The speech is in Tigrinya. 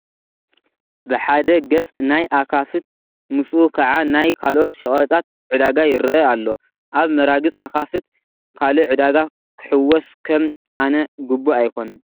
ብሓደ ገፅ ናይ ኣኻፍት ምስኡ ከዓ ናይ ካልኦት ሸቐጣት ዕዳጋ ይርአ ኣሎ፡፡ ኣብ መራግፅ ኣኻፍት ካልእ ዕዳጋ ክሕወስ ከም ኣነ ግቡእ ኣይኮነን፡፡